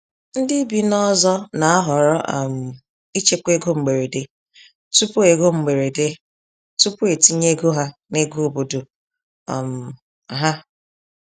Ndị bi n’ọzọ na-ahọrọ um ichekwa ego mgberede tupu ego mgberede tupu etinye ego ha n’ego obodo um ha.